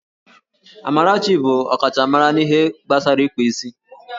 Amarachi bụ ọkachamara n'ihe gbasara ịkpa isi